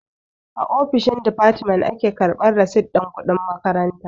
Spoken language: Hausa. A ofishin difatimen a ke karɓan risit ɗin kuɗin makaranta.